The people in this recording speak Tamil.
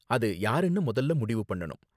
அது யாருனு முதல்ல முடிவு பண்ணனும்.